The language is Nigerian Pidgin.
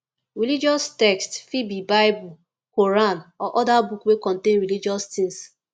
religious text fit be bible quran or oda book wey contain religious things